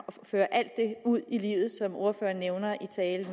føre alt det ud i livet som ordføreren nævner i talen og